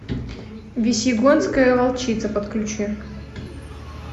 весьегонская волчица подключи